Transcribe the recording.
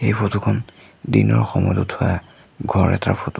এই ফটো খন দিনৰ সময়ত উঠোৱা ঘৰ এটাৰ ফটো ।